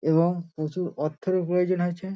এবং প্রচুর অর্থেরও প্রয়োজন আছে ।